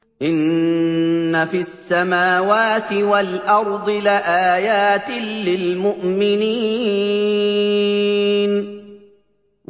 إِنَّ فِي السَّمَاوَاتِ وَالْأَرْضِ لَآيَاتٍ لِّلْمُؤْمِنِينَ